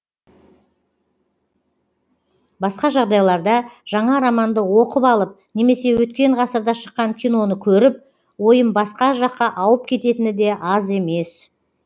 басқа жағдайларда жаңа романды оқып алып немесе өткен ғасырда шыққан киноны көріп ойым басқа жаққа ауып кететіні де аз емес